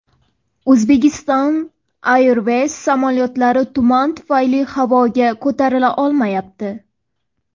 Uzbekistan Airways samolyotlari tuman tufayli havoga ko‘tarila olmayapti.